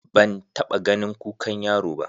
Ban taɓa ganin kukan yaro ba.